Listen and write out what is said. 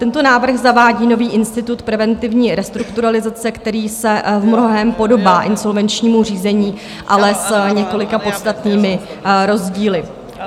Tento návrh zavádí nový institut preventivní restrukturalizace, který se v mnohém podobá insolvenčnímu řízení, ale s několika podstatnými rozdíly.